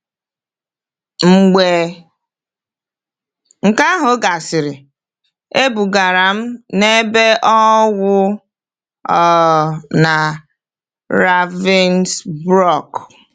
Mgbe nke ahụ gasịrị, ebugara m na ebe ọnwụ um na Ravensbrück.